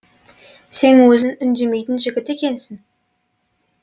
сен өзің үндемейтін жігіт екенсің